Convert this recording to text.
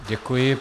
Děkuji.